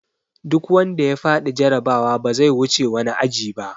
Duk wanda ya faɗi jarabawa ba zai wuce wani aji ba!